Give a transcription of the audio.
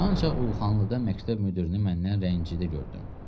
Ancaq Uluxanlıda məktəb müdirini məndən rəncidə gördüm.